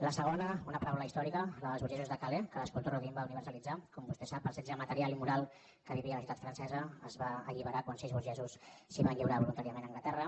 la segona una paràbola històrica la d’ els burgesos de calais que l’escultor rodin va universalitzar com vostè sap el setge material i moral que vivia la ciutat francesa es va alliberar quan sis burgesos es van lliurar voluntàriament a anglaterra